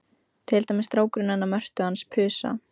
Til dæmis strákurinn hennar Mörtu hans Pusa.